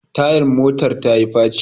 Tayan motar tayi faci